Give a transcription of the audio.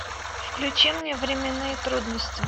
включи мне временные трудности